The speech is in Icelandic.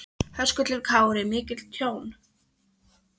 Höskuldur Kári: Mikið tjón?